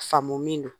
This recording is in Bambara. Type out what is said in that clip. Faamu min don